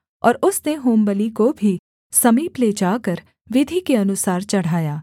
और उसने होमबलि को भी समीप ले जाकर विधि के अनुसार चढ़ाया